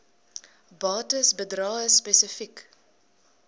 bates bedrae spesifiek